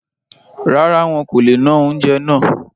Rárá, wọn kò le ná oúnjẹ náà